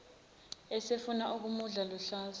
esefuna ukumudla luhlaza